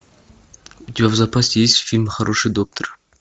у тебя в запасе есть фильм хороший доктор